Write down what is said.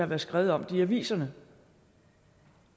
været skrevet om det i aviserne